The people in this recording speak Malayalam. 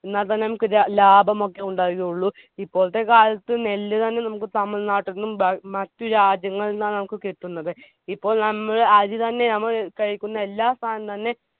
എന്നാതന്നെ നമ്മുക്ക് ര ലാഭമൊക്കെ ഉണ്ടാവുകയുള്ളു ഇപ്പോളത്തെ കാലത്ത് നെല്ല് തന്നെ നമ്മുക്ക് തമിഴ് നാട്ടിന്നും ബാങ് മറ്റ് രാജ്യങ്ങളിന്നും ആണ് നമ്മുക്ക് കിട്ടുന്നത്. ഇപ്പോൾ നമ്മൾ അരിത്തന്നെ ഞമ്മള് കഴിക്കുന്ന എല്ലാ സാനം തന്നെ